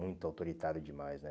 Muito autoritário demais, né?